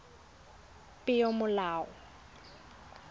peomolao